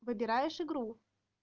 выбираешь игру